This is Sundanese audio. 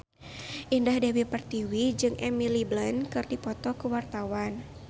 Indah Dewi Pertiwi jeung Emily Blunt keur dipoto ku wartawan